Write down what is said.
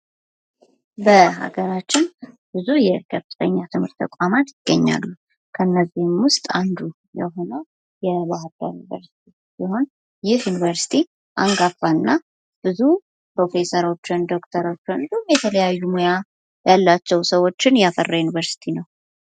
በሀገራችን ብዙ የከፍተኛ ትምህርት ተቋማት ይገኛሉ ።ከነዚህም ውስጥ አንዱ የሆነው የባህርዳር ዩኒቨርስቲ ሲሆን ይህ ዩኒቨርስቲ አንጋፋና ብዙ ፕሮፌሰሮችን፣ ዶክተሮችን እንዲሁም የተለያዩ ሙያ ያላቸውን ሰዎችን ያፈራ ዩኒቨርስቲ ነው።